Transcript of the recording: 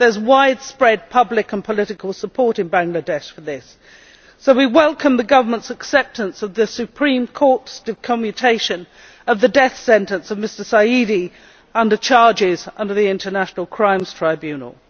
There is widespread public and political support in Bangladesh for this, so we welcome the government's acceptance of the Supreme Court's commutation of the death sentence of Mr Sayedee under charges under the International Crimes Tribunal.